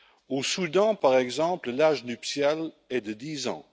Au Soudan, par exemple, l'âge nuptial est de 10 ans.